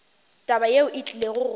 taba yeo e tlile go